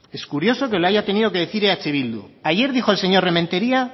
es curioso que lo haya tenido que decir eh bildu ayer dijo el señor rementeria